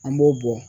An b'o bɔ